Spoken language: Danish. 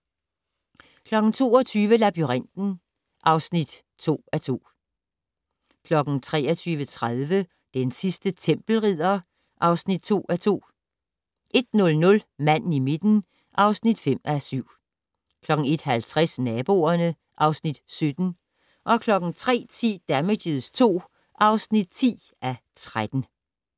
22:00: Labyrinten (2:2) 23:30: Den sidste tempelridder (2:2) 01:00: Manden i midten (5:7) 01:50: Naboerne (Afs. 17) 03:10: Damages II (10:13)